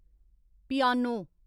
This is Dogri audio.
पियानो